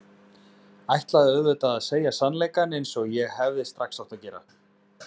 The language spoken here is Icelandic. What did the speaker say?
Ætlaði auðvitað að segja sannleikann eins og ég hefði strax átt að gera.